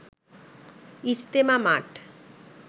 ইজতেমা মাঠ